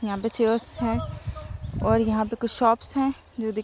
यहाँ पे चेयर है और यहाँ पे कुछ शॉप है जो दिख --